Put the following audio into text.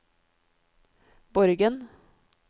Borgen